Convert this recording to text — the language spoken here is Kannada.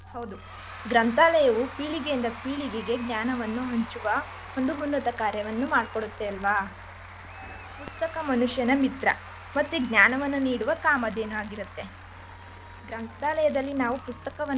ಹೌದು ಗ್ರಂಥಾಲಯವು ಪೀಳಿಗೆಯಿಂದ ಪೀಳಿಗೆಗೆ ಜ್ಞಾನವನ್ನು ಹಂಚುವ ಒಂದು ಉನ್ನತ್ತ ಕಾರ್ಯವನ್ನು ಮಾಡ್ಕೊಡುತ್ತೆ ಅಲ್ವ ಪುಸ್ತಕ ಮನುಷ್ಯನ ಮಿತ್ರ ಮತ್ತೆ ಜ್ಞಾನವನ್ನು ನೀಡುವ ಕಾಮಧೇನುಯಾಗಿರುತ್ತೆ ಗ್ರಂಥಾಲಯದಲ್ಲಿ ನಾವು ಪುಸ್ತಕವನ್ನ.